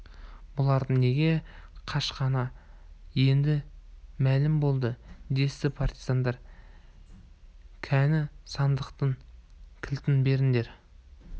бұлардың неге қашқаны енді мәлім болды десті партизандар кәне сандықтың кілтін беріңдер